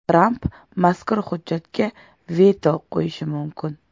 Tramp mazkur hujjatga veto qo‘yishi mumkin.